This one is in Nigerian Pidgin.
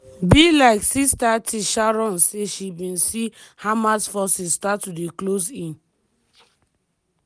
by like06:30 sharon say she bin see hamas forces start to close in.